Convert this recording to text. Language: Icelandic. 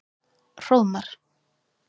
Hróðmar